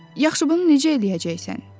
Yaxşı, bunu necə eləyəcəksən?